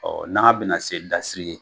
Ɔ n'agan bena se dasiri ye